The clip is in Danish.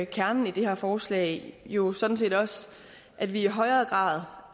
kernen i det her forslag jo sådan set også at vi i højere grad